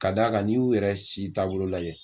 Ka d'a kan n'i y'u yɛrɛ si taabolo lajɛ